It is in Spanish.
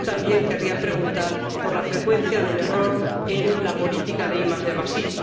Y también querría preguntar por la frecuencia del error en la política de IDi.